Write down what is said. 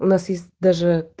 у нас есть даже